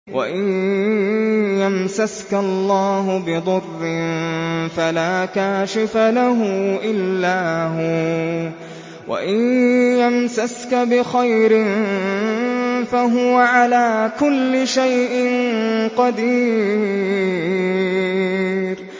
وَإِن يَمْسَسْكَ اللَّهُ بِضُرٍّ فَلَا كَاشِفَ لَهُ إِلَّا هُوَ ۖ وَإِن يَمْسَسْكَ بِخَيْرٍ فَهُوَ عَلَىٰ كُلِّ شَيْءٍ قَدِيرٌ